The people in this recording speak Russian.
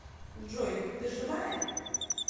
джой ты живая